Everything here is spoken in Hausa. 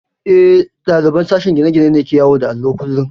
Eh, ɗaliban sashen gine-gine ne ke yawo da allo kullum